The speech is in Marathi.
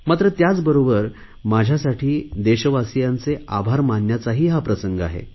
मात्र त्याचबरोबर माझ्यासाठी देशवासियांचे आभार मानण्याचा हा प्रसंग आहे